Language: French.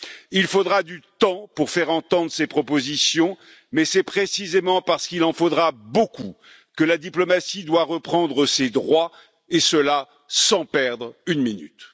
Il faudra du temps pour faire entendre ces propositions, mais c'est précisément parce qu'il en faudra beaucoup que la diplomatie doit reprendre ses droits et cela, sans perdre une minute.